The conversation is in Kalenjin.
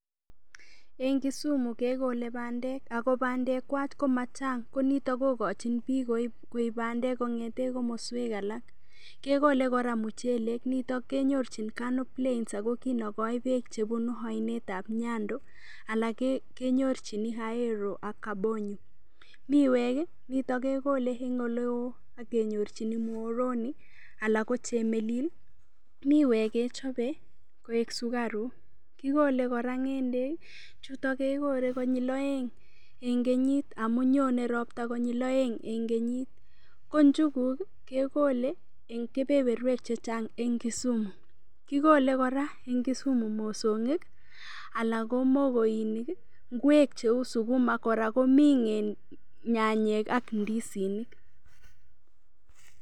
Eng' Kisumu kekolei bandek ako bandekwach ko machang' ko nito kokochin biik koib bandek kong'ete komoswek alak kekolei kora muchelek nito kenyorchin Kano plains oko kinokoi beek chebunu oinetab nyando alak kenyorchini Ahero ak kabonyo miwek nito kekolei eng' oleo akenyorchini Muhoroni alak ko chemelil miwek kechobei koek sukarok kikolei kora ng'endek chuto kekolei konyil oeng' eng' kenyit amu nyonei ropta konyil oeng' eng' kenyit ko niuguk kekolei eng' kepeperwek chechang' eng' Kisumu kikolei kora eng kisumu mosong'ik alak ko kokoini ng'wek cheu sukuma kora komi nyanyek ak ndisinik